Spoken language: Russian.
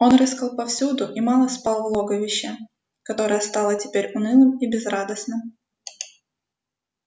он рыскал повсюду и мало спал в логовище которое стало теперь унылым и безрадостным